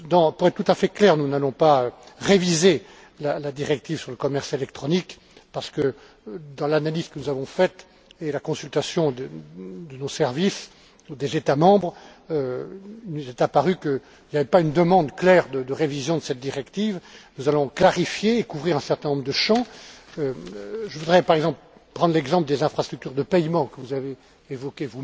Pour être tout à fait clair, nous n'allons pas réviser la directive sur le commerce électronique parce que, dans l'analyse que nous avons faite et à la suite de la consultation de nos services et des États membres, il nous est apparu qu'il n'y avait pas une demande claire de révision de cette directive. Nous allons clarifier et couvrir un certain nombre de champs. Ainsi, je voudrais prendre l'exemple des infrastructures de paiements, que vous avez d'ailleurs évoqué.